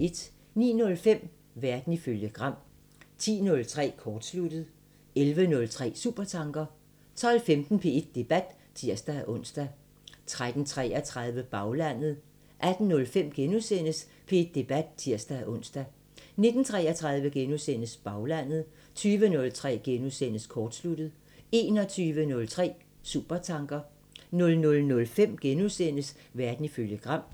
09:05: Verden ifølge Gram 10:03: Kortsluttet 11:03: Supertanker 12:15: P1 Debat (tir-ons) 13:33: Baglandet 18:05: P1 Debat *(tir-ons) 19:33: Baglandet * 20:03: Kortsluttet * 21:03: Supertanker 00:05: Verden ifølge Gram *